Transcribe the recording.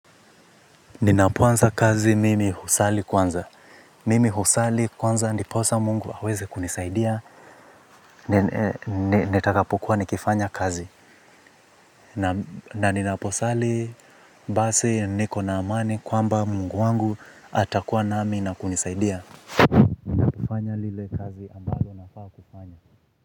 Ninapoanza kazi mimi husali kwanza. Mimi husali kwanza ndiposa mungu aweze kunisaidia. Nitakapokuwa nikifanya kazi. Na ninaposali basi niko na amani kwamba mungu wangu atakuwa nami na kunisaidia kufanya ile kazi.